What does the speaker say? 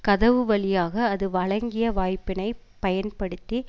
கதவு வழியாக அது வழங்கிய வாய்ப்பினை பயன்படுத்தி